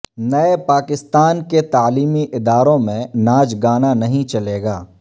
نئے پاکستان کے تعلیمی اداروں میں ناچ گانا نہیں چلے گا